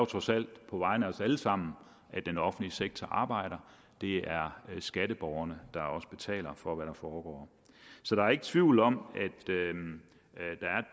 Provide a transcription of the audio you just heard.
trods alt på vegne af os alle sammen at den offentlige sektor arbejder det er skatteborgerne der også betaler for hvad der foregår så der er ikke tvivl om